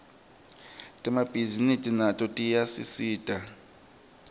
temabhisinisi nato tiyasisita